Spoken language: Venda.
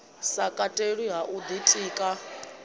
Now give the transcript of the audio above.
sa katelwi ha u ḓitika